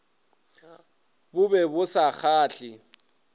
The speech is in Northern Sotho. bo be bo sa kgahle